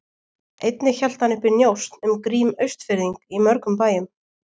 Einnig hélt hann uppi njósn um Grím Austfirðing í mörgum bæjum.